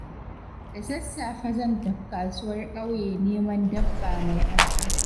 Da sassafe zan tafi kasuwar ƙauye neman dabba mai arha.